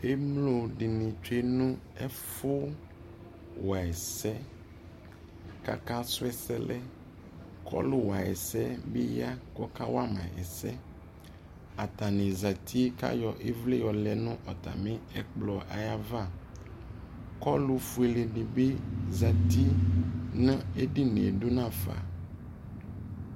ʒmlɔ dini twʒʒ nu ʒfu wa ʒsʒ, ku akasrɔ ʒsʒ, kʋ ɔlʋ wa ʒsʒ bi ya kʋ ɔka wama ʒsʒ, atami zaati ku atami ayɔ ivli yɔlʒ nʋ ʒkplɔʒ aɣa kʋ ɔlʋʋfuɛ dibi zaati nʋ ʒdinieʒ duna afa